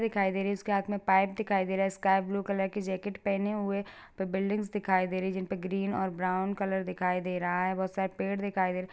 दिखाई दे रही है उसके हाथ में पाइप दिखाई दे रहा है स्काई ब्लू कलर की जैकेट पहिनी हुए। फिर बिल्डिंग्स दिखाई दे रही है जिनपे ग्रीन और ब्राउन कलर दिखाई दे रहा है। बहोत सारे पेड़ दिखाई दे रहा है।